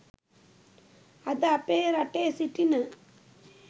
අද අපේ රටේ සිටින